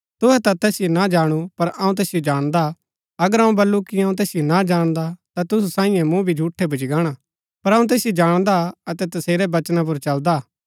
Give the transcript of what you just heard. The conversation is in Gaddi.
तूहै ता तैसिओ ना जाणु पर अऊँ तैसिओ जाणदा हा अगर अऊँ बल्लू कि अऊँ तैसिओ ना जाणदा ता तूसु साईयें मूँ भी झूठै भूच्ची गाणा पर अऊँ तैसिओ जाणदा अतै तसेरै वचना पुर चलदा हा